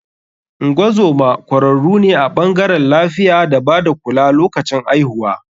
Ngozoma kwararu ne a bangarewn lafiya da bada kula lokacin aihuwa.